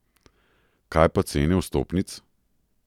Kaj pa cene vstopnic?